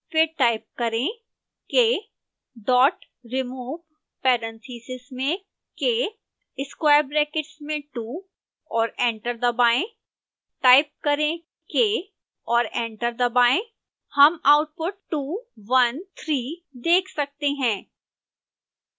फिर टाइप करें k dot remove parentheses में k square brackets में two और एंटर दबाएं टाइप करें k और एंटर दबाएं हम आउटपुट 213 देख सकते हैं